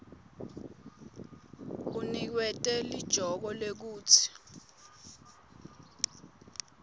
uniketwe lijoke lekutsi